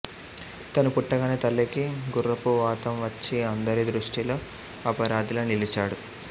తను పుట్టగానే తల్లికి గుర్రపువాతం వచ్చి అందరి దృష్టిలో అపరాధిలా నిలిచాడు